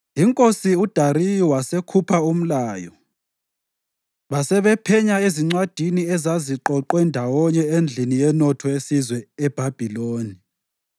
INkosi uDariyu wasekhupha umlayo, basebephenya ezincwadini ezaziqoqwe ndawonye endlini yenotho yesizwe eBhabhiloni.